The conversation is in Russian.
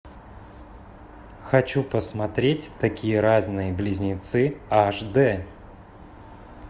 хочу посмотреть такие разные близнецы аш дэ